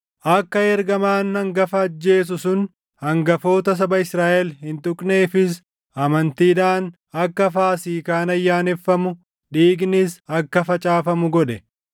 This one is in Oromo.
Akka ergamaan hangafa ajjeesu sun hangafoota saba Israaʼel hin tuqneefis amantiidhaan akka Faasiikaan ayyaaneffamu, dhiignis akka facaafamu godhe.